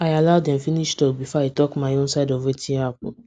i allow dem finish talk before i talk my own side of wetin happen